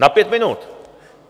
Na pět minut.